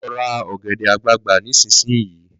Lọ ra ọ̀gẹ̀dẹ̀ àgbagbà nísinsìnyí!